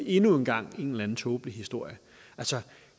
endnu en gang en eller anden tåbelig historie altså